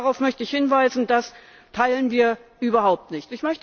Darauf möchte ich hinweisen, das teilen wir überhaupt nicht.